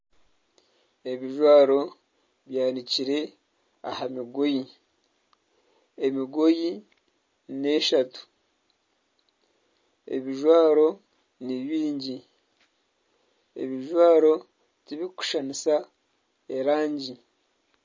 Ebijwaro byanikire aha mugoye. Emigoye n'eshatu. Ebijwaro ni bingi, ebijwaro tibikushushanisa erangi.